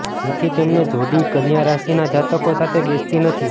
જેથી તેમની જોડી કન્યા રાશિના જાતકો સાથે બેસતી નથી